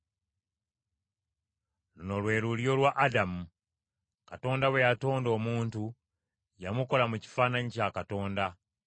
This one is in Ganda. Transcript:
Luno lwe lulyo lwa Adamu. Katonda bwe yatonda omuntu, yamukola mu kifaananyi kya Katonda.